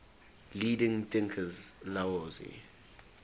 leading thinkers laozi